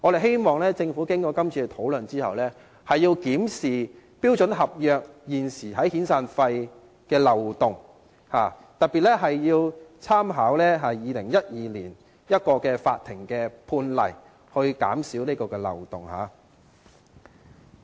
經過今次討論後，我們希望政府會檢視標準合約現時在遣散費方面的漏洞，特別要參考2012年一宗法庭判例，以堵塞漏洞。